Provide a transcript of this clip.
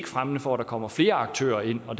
fremmende for at der kommer flere aktører ind og